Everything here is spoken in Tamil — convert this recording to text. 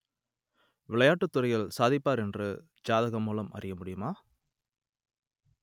விளையாட்டுத் துறையில் சாதிப்பார் என்று ஜாதகம் மூலம் அறிய முடியுமா